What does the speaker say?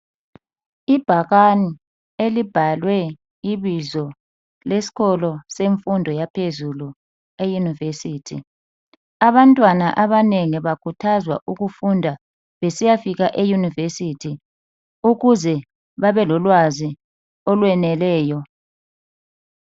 Ibhakane elibhalwe ibizo lesikolo semfundo yaphezulu e university. Abantwana abanengi bakhuthazwa ukufunda besiyafika e university ukuze babelolwazi olweneleyo